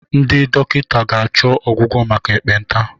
Ndị ga-achọ ọgwụgwọ maka ekpenta.